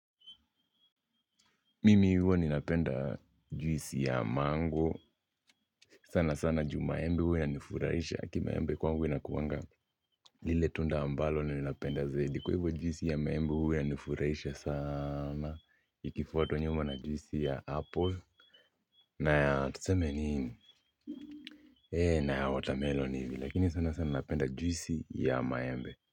Mimi huwa ninapenda juisi ya mango. Sana sana juu maembe huwa inanifuraisha. Kimaembe kwangu inakuanga lile tunda ambalo ninalipenda zaidi. Kwa hivyo juisi ya maembe huwa nifurahisha sana. Ikifuatwa nyuma na juisi ya apple na ya tusemi nini na ya watermelon hivi. Lakini sana sana napenda juisi ya maembe.